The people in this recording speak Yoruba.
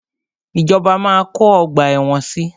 Ìjọba máa kọ́ ọgbà ẹ̀wọ̀n si.